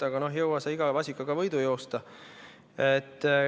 Aga jõuad sa iga vasikaga võidu joosta.